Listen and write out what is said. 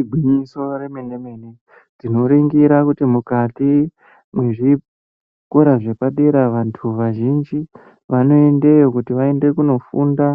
Igwinyiso remene mene tinoringira kuti mukati mwezvikora zvepadera vantu vazhinji vanoendeyo kuti vaende kunofunda